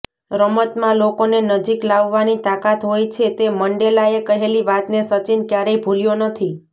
રમતમાં લોકોને નજીક લાવવાની તાકાત હોય છે તે મંડેલાએ કહેલી વાતને સચિન ક્યારેય ભૂલ્યો નથી